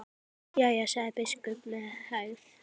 Jæja, sagði biskup með hægð.